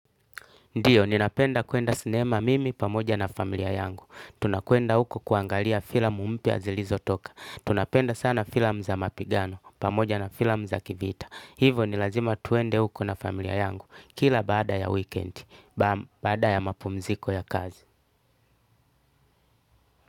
Ndiyo, ninapenda kuenda sinema mimi pamoja na familia yangu. Tunakuenda huko kuangalia filamu mpya zilizotoka. Tunapenda sana filamu za mapigano pamoja na filamu za kivita. Hivo, ni lazima tuende huko na familia yangu kila baada ya weekend. Baada ya mapumziko ya kazi.